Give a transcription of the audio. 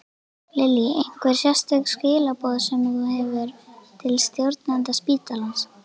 Lillý: Einhver sérstök skilaboð sem þú hefur til stjórnenda spítalans?